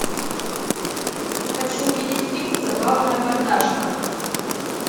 хочу увидеть фильм забавная мордашка